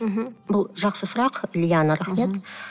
мхм бұл жақсы сұрақ лиана рахмет